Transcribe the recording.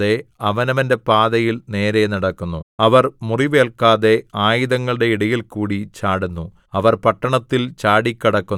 അവർ തമ്മിൽ തിക്കിതിരക്കാതെ അവനവന്റെ പാതയിൽ നേരെ നടക്കുന്നു അവർ മുറിവേൽക്കാതെ ആയുധങ്ങളുടെ ഇടയിൽകൂടി ചാടുന്നു